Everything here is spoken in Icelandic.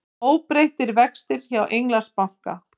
Óbreyttir vextir hjá Englandsbanka